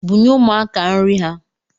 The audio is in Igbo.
Bunye umuaka nri ha